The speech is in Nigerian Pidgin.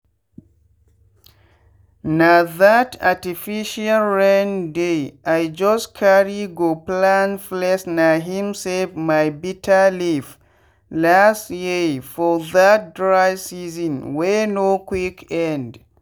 na that artificial rain dey just carry go plant placena him save my bitter leaf last yearfor that dry season wey no quick end.